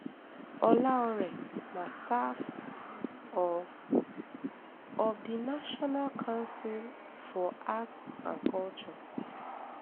olaore na staff of of di national council for arts and culture